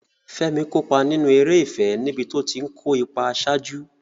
Fẹ́mi kópa nínú eré ìfẹ́ níbi tó ti ń kó ipa àṣáájú.